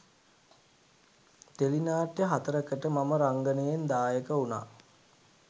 tele නාට්‍ය හතරකට මම රංගනයෙන් දායක වුණා